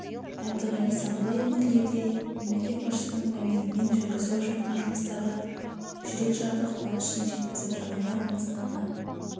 әбдіғали сандыбай өңірлерде мемлекет басшысының пәрменімен жүргізіліп жатқан жұмыстарға жүрек жарды қуанышын жеткізіп жаңадан қоныстанған